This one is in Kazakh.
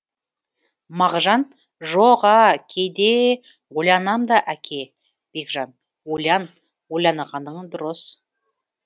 мағжан жоқ а кейдеее ойланам да әке бекжан ойлан ойланғаның дұрыс